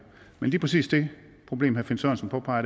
men lige præcis det problem herre finn sørensen påpeger